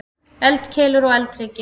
Eldkeilur og eldhryggir.